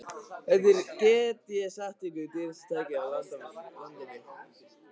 Þetta er, get ég sagt ykkur, dýrasta tækið á landinu.